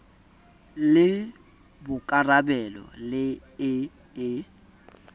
le bokarabelo le e e